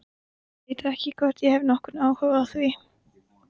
Ólafur fann heitt blóðið stökkva yfir hendi sína.